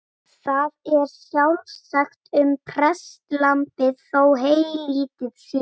Það er sjálfsagt um prestlambið þó heylítið sé.